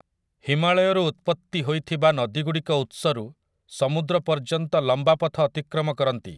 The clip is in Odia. ହିମାଳୟରୁ ଉତ୍ପତ୍ତି ହୋଇଥିବା ନଦୀଗୁଡ଼ିକ ଉତ୍ସରୁ ସମୁଦ୍ର ପର୍ଯ୍ୟନ୍ତ ଲମ୍ବାପଥ ଅତିକ୍ରମ କରନ୍ତି ।